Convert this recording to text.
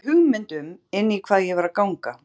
Hafði ekki hugmynd um inn í hvað ég var að ganga.